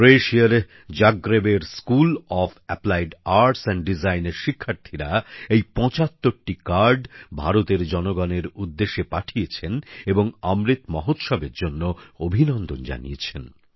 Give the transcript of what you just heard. ক্রোয়েশিয়ার জাগ্রেবের school of applied arts and ডিজাইনের শিক্ষার্থীরা এই ৭৫টি কার্ড ভারতের জনসাধারণের উদ্দেশে পাঠিয়েছেন এবং অমৃত মহোৎসবের জন্য অভিনন্দন জানিয়েছেন